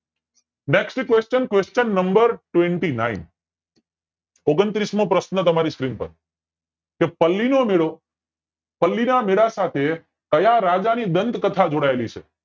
next question qustion number twenty nine ઓગણત્રીસ મોં પ્રશ્ન તમારી screen પર પલ્લી નો મેળો પલ્લી ના મેળા સાથે ક્યાં રાજા ની ગ્રન્થ કથા જોડાયેલી છે